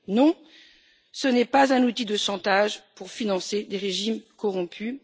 Non, ce n'est pas un outil de chantage pour financer des régimes corrompus.